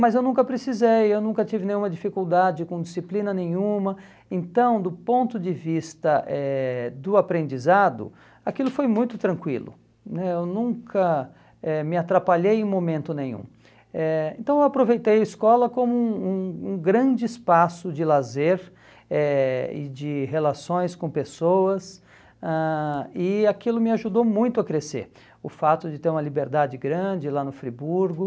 mas eu nunca precisei, eu nunca tive nenhuma dificuldade com disciplina nenhuma então do ponto de vista eh do aprendizado aquilo foi muito tranquilo né eu nunca eh me atrapalhei em momento nenhum eh então eu aproveitei a escola como um um um grande espaço de lazer eh e de relações com pessoas ãh e aquilo me ajudou muito a crescer o fato de ter uma liberdade grande lá no Friburgo